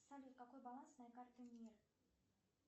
салют какой баланс моей карты мир